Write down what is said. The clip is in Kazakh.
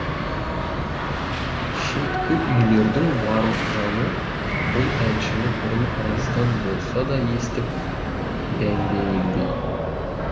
шеткі үйлердің барлық жаны бұл әншіні бұрын алыстан болса да естіп дәндегендей